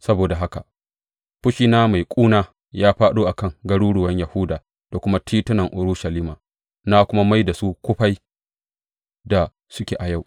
Saboda haka, fushina mai ƙuna ya fāɗo a kan garuruwan Yahuda da kuma titunan Urushalima na kuma mai da su kufai da suke a yau.